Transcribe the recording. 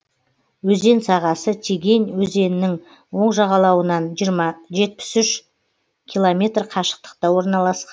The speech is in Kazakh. өзен сағасы тегень өзенінің оң жағалауынан жетпіс үш километр қашықтықта орналасқан